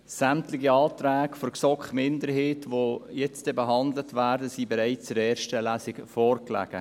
Sämtliche Anträge der GSoK-Minderheit, die jetzt gleich behandelt werden, lagen bereits in der ersten Lesung vor.